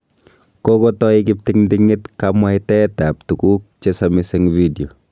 Kokotai kiptingting'it kamwaitaet ab tuguk che samis eng video.